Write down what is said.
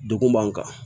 Degun b'an kan